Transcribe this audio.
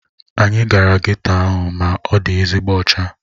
Anyị gara geto ahụ ma ọ dị ezigbo ọcha